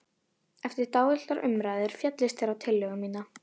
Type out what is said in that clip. Eftir dálitlar umræður féllust þeir á tillögu mína.